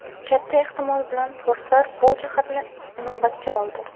Katta ehtimol bilan forslar bu jihatni inobatga oldi.